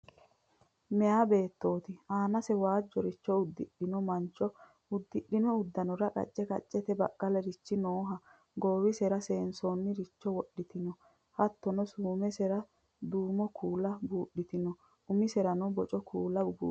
Meya beettooti aanase waajjoricho udidhino maancho uddidhino uddanora qacce qaccete baqqalarichi nooha goowisera seesiinsoonniricho wodhitinoha hattono suumesera duuno kuula buudhitinota umiserano Boca kuula buudhitino